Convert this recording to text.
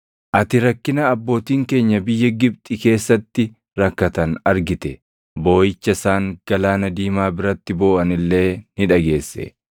“Ati rakkina abbootiin keenya biyya Gibxi keessatti rakkatan argite; booʼicha isaan Galaana Diimaa biratti booʼan illee ni dhageesse.